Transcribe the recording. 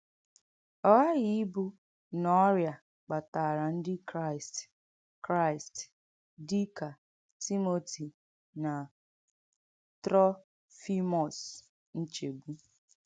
Ọ ghàghì ìbù nà ọ́rị́à kpàtàrà Ndí Kráìst Kráìst dì kà Tímòtì nà Trọ̀fìmọ́s nchègbù.